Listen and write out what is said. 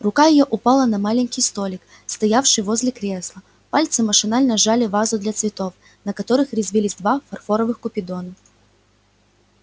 рука её упала на маленький столик стоявший возле кресла пальцы машинально сжали вазу для цветов на которых резвились два фарфоровых купидона